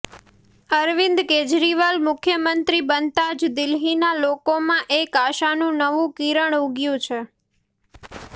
અરવિંદ કેજરીવાલ મુખ્યમંત્રી બનતા જ દિલ્હીના લોકોમાં એક આશાનું નવુ કિરણ ઉગ્યુ છે